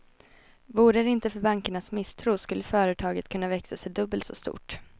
Vore det inte för bankernas misstro skulle företaget kunna växa sig dubbelt så stort.